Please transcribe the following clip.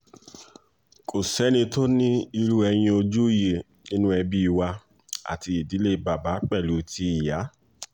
kò sẹ́ni tó ní irú ẹyin ojú yìí nínú ẹbí wa àti ìdílé bàbá pẹ̀lú ti ìyá